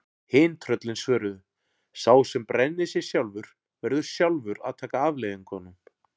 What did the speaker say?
Hin tröllin svöruðu: Sá sem brennir sig sjálfur, verður sjálfur að taka afleiðingunum